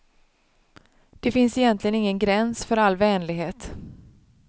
Det finns egentligen ingen gräns för all vänlighet.